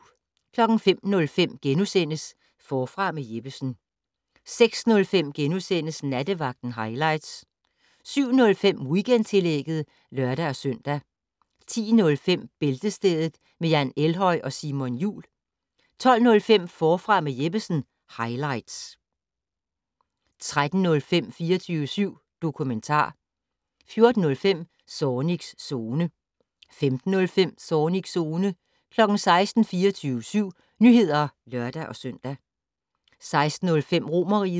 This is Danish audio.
05:05: Forfra med Jeppesen * 06:05: Nattevagten highlights * 07:05: Weekendtillægget (lør-søn) 10:05: Bæltestedet med Jan Elhøj og Simon Jul 12:05: Forfra med Jeppesen - highlights 13:05: 24syv dokumentar 14:05: Zornigs Zone 15:05: Zornigs Zone 16:00: 24syv Nyheder (lør-søn) 16:05: Romerriget